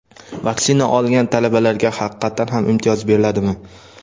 Vaksina olgan talabalarga haqiqatdan ham imtiyoz beriladimi?.